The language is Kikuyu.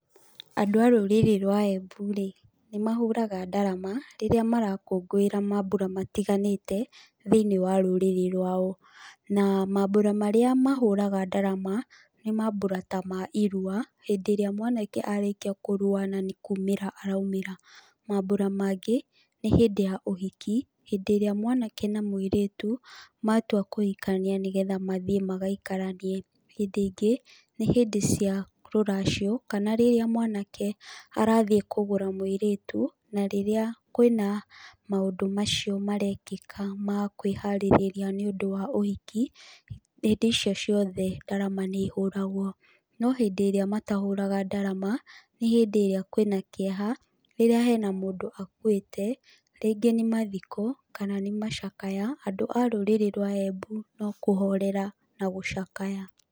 Andũ a rũrĩrĩ rwa Embu rĩ, nĩ mahũraga ndarama rĩrĩa marakũngũĩra mambura matiganĩte, thĩiniĩ wa rũrĩrĩ rwao, na mambura marĩa mahũraga ndarama nĩ mambura ta ma irua hĩndĩ ĩrĩa mwanake arĩkia kũrua na nĩ kumĩra araumĩra, maambura mangĩ nĩ hĩndĩ ya ũhiki, hĩndĩ ĩrĩa mwanake na mũirĩtu matua kũhikania nĩgetha mathiĩ magaikaranie. Hĩndĩ ĩngĩ, nĩ hĩndĩ cia rũracio kana rĩrĩa mwanake arathiĩ kũgũra mũirĩtu na rĩrĩa kwĩna maũndũ macio marekĩka ma kwĩharĩrĩria nĩ ũndũ wa ũhiki, hĩndĩ icio ciothe ndarama nĩ ihũragwo. No hĩndĩ ĩrĩa matahũraga ndarama nĩ hĩndĩ ĩrĩa kwĩna kieha, rĩrĩa hena mũndũ akuĩte, rĩngĩ nĩ mathiko kana nĩ macakaya andũ a rũrĩrĩ rwa Embu no kũhorera na gũcakaya.